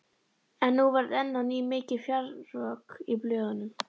En nú varð enn á ný mikið fjaðrafok í blöðunum.